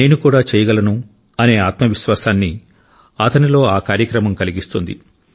నేను కూడా చేయగలను అనే ఆత్మవిశ్వాసాన్ని అతనిలో ఆ కార్యక్రమం కలిగిస్తుంది